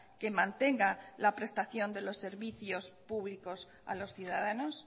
que mantenga la prestación de los servicios públicos a los ciudadanos